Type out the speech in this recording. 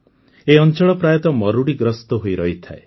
ଏହି ଅଂଚଳ ପ୍ରାୟତଃ ମରୁଡ଼ିଗ୍ରସ୍ତ ହୋଇ ରହିଥାଏ